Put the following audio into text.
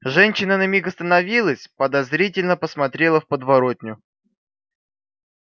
женщина на миг остановилась подозрительно посмотрела в подворотню